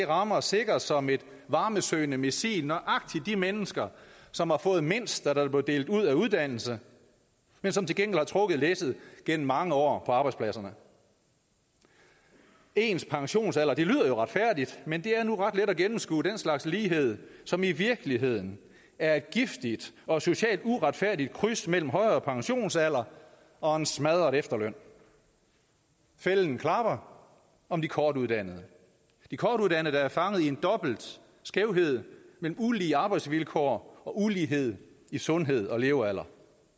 rammer sikkert som et varmesøgende missil nøjagtig de mennesker som har fået mindst da der blev delt ud af uddannelser men som til gengæld har trukket læsset gennem mange år på arbejdspladserne ens pensionsalder det lyder jo retfærdigt men det er nu ret let at gennemskue den slags lighed som i virkeligheden er et giftigt og socialt uretfærdigt kryds mellem en højere pensionsalder og en smadret efterløn fælden klapper om de kortuddannede de kortuddannede der er fanget i en dobbelt skævhed med ulige arbejdsvilkår og ulighed i sundhed og levealder